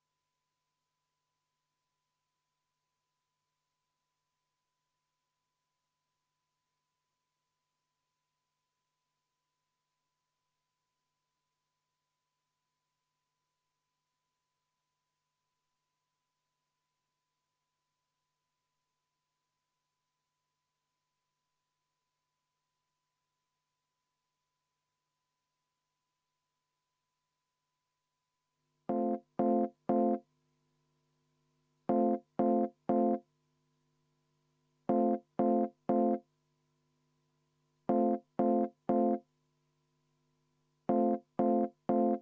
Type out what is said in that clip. Juhtivkomisjoni seisukoht on jätta see arvestamata.